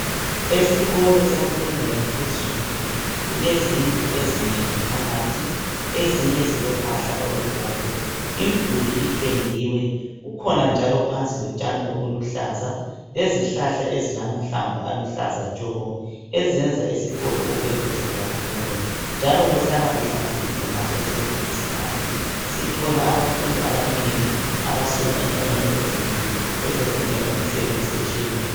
Esikolo semfundo yaphezulu kulezindlu ezigcwele phakathi ezinye zilombala obomvu umduli upendiwe kukhona njalo phansi lotshani obuluhlaza lezi hlahla ezilamahlamvu aluhlaza tshoko ezenza esikolo kube kuhle kakhulu njalo kuhlala kuhlanzekile ngaso sonke isikhathi sithola abafundi abanengi besuka endaweni ezinengi bezofundela imisebenzi etshiyeneyo